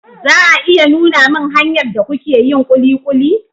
za a iya nuna min hanyar da kuke yin kulikuli?